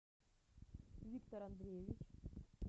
виктор андреевич